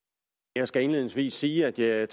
jeg skal indledningsvis sige at jeg